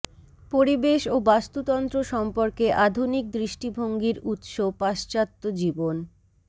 পরিবেশ ও বাস্তুতন্ত্র সম্পর্কে আধুনিক দৃষ্টিভঙ্গির উৎস পাশ্চাত্য জীবন